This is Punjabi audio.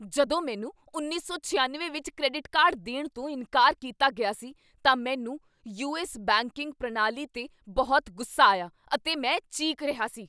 ਜਦੋਂ ਮੈਨੂੰ ਉੱਨੀ ਸੌ ਛਿਆਨਵੇਂ ਵਿੱਚ ਕ੍ਰੈਡਿਟ ਕਾਰਡ ਦੇਣ ਤੋਂ ਇਨਕਾਰ ਕੀਤਾ ਗਿਆ ਸੀ ਤਾਂ ਮੈਨੂੰ ਯੂਐੱਸ ਬੈਂਕਿੰਗ ਪ੍ਰਣਾਲੀ 'ਤੇ ਬਹੁਤ ਗੁੱਸਾ ਆਇਆ ਅਤੇ ਮੈਂ ਚੀਕ ਰਿਹਾ ਸੀ